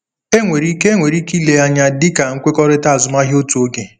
Enwere ike Enwere ike ile ya anya dị ka nkwekọrịta azụmahịa otu oge.